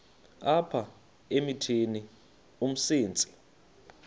apha emithini umsintsi